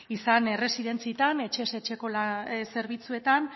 izan erresidentziatan etxez etxeko zerbitzuetan